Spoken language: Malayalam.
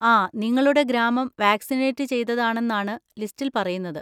ആ, നിങ്ങളുടെ ഗ്രാമം വാക്‌സിനേറ്റ് ചെയ്തതാണെന്നാണ് ലിസ്റ്റിൽ പറയുന്നത്.